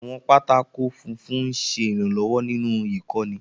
Àwọn pátákó funfun ń ṣe ìrànlọ́wọ́ nínú ìkọ́ni.